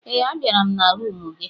Ee, a bịara m na rumụ gị.